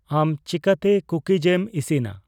ᱟᱢ ᱪᱤᱠᱟᱹᱛᱮ ᱠᱩᱠᱤᱡ ᱮᱢ ᱤᱥᱤᱱᱟ